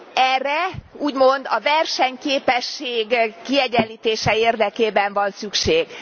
Erre úgymond a versenyképesség kiegyenlítése érdekében van szükség.